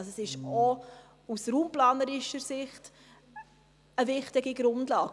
Es ist auch aus raumplanerischer Sicht eine wichtige Grundlage.